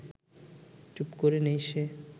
চুপ করে নেই সে